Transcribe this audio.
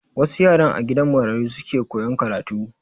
Wasu yaran a gidan marayu suke koyan karatu.